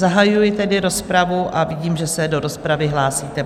Zahajuji tedy rozpravu a vidím, že se do rozpravy hlásíte.